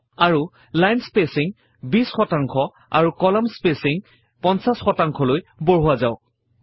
আৰু line spacing 20 শতাংশ আৰু কলম স্পেচিং 50 শতাংশলৈ বঢ়োৱা যাওক